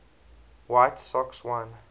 white sox won